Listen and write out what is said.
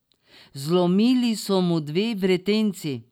Zlomili so mu dve vretenci.